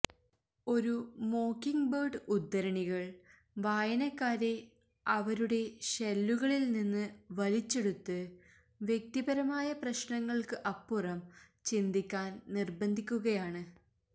ഒരു മോക്കിങ്ങ്ബേർഡ് ഉദ്ധരണികൾ വായനക്കാരെ അവരുടെ ഷെല്ലുകളിൽ നിന്ന് വലിച്ചെടുത്ത് വ്യക്തിപരമായ പ്രശ്നങ്ങൾക്ക് അപ്പുറം ചിന്തിക്കാൻ നിർബന്ധിക്കുകയാണ്